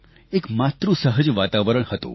એક માતૃસહજ વાતાવરણ હતું